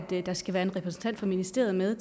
der skal være en repræsentant fra ministeriet med